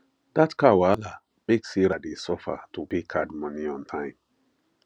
that car wahala make sarah dey suffer to pay card money on time